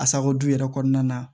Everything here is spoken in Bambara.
Asako yɛrɛ kɔnɔna na